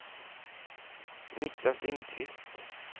Niklas Lindquist